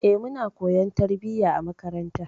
E, muna koyon tarbiyya a makaranta.